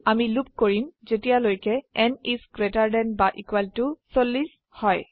আমি লুপ কৰিম যেতিয়ালৈকে n ইস গ্ৰেটাৰ দেন বা ইকুয়েল টু 40 হয়